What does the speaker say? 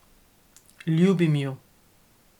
Ljubim ju.